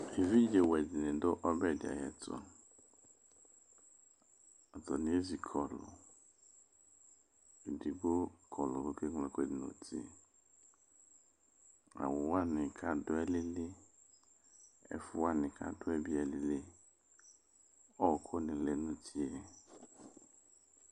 Evidzewɛ de ne do ɔbɛ de ayeto Atane ezi kɔluEdigbo kɔlu ko ke ñlo ɛluɛde no uti Awu wane kdo alili, ɛfo wane kado be alili Ɔku de lɛ no utie